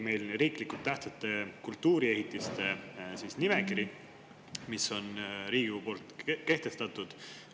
Meil on riiklikult tähtsate kultuuriehitiste nimekiri, mis on Riigikogus kehtestatud.